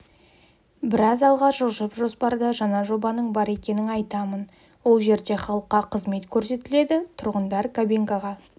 біраз алға жылжып жоспарда жаңа жобаның бар екенін айтамын ол жерде халыққа қызмет көрсетіледі тұрғындар кабинкаға